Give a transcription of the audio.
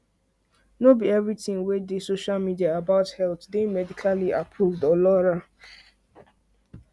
no be everything wey dey social media about health dey medically approved or laura